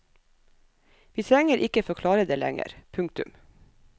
Vi trenger ikke forklare det lenger. punktum